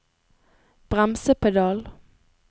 bremsepedal